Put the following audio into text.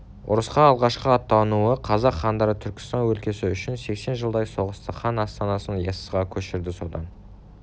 ұрысқа алғашқы аттануы қазақ хандары түркістан өлкесі үшін сексен жылдай соғысты хан астанасын яссыға көшірді содан